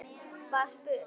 var spurt.